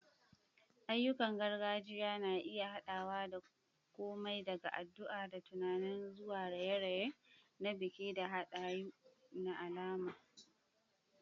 Ayyukan gargajiya na iya haɗawa da komai daga addu'a da tunani zuwa raye-raye na biki da hadayu na alama.